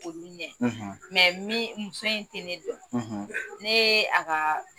Ko minɛ muso in tɛ ne dɔn, ne ye a ka